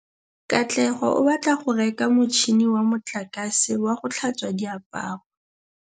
Katlego o batla go reka motšhine wa motlakase wa go tlhatswa diaparo.